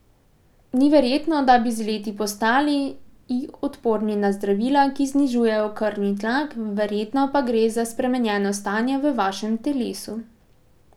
Ni verjetno, da bi z leti postali i odporni na zdravila, ki znižujejo krvni tlak, verjetno pa gre za spremenjeno stanje v vašem telesu.